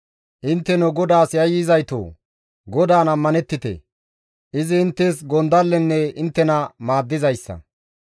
Intteno GODAAS yayyizaytoo! GODAAN ammanettite! Izi inttes gondallenne inttena maaddizaade.